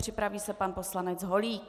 Připraví se pan poslanec Holík.